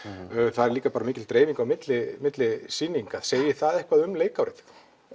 það er líka mikil dreifing á milli milli sýninga segir það eitthvað um leikárið